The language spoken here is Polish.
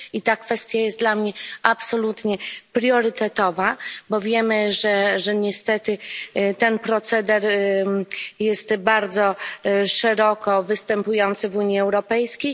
I ta kwestia jest dla mnie absolutnie priorytetowa, bo wiemy, że niestety ten proceder jest bardzo szeroko występujący w Unii Europejskiej.